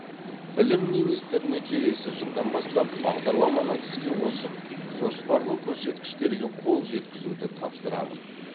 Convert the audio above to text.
білім министріне келесі жылдан бастап бағдарламаны іске қосып жоспарлы көрсеткіштерге қол жеткізді тапсырамын